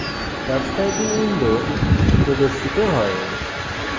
tux typing window প্রদর্শিত হয়